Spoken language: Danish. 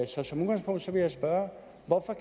så som udgangspunkt vil jeg spørge hvorfor